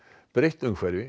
breytt umhverfi